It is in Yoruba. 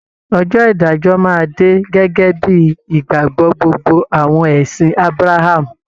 Ọjọ́ ìdájọ́ máa dé gẹ́gẹ́ bíi ìgbàgbọ́ gbogbo àwọn ẹ̀sìn Ábráhámù